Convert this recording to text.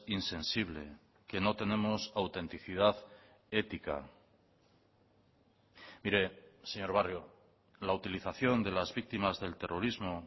insensible que no tenemos autenticidad ética mire señor barrio la utilización de las víctimas del terrorismo